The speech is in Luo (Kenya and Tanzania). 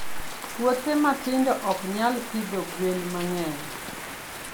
Puothe matindo ok nyal pidho gwen mang'eny.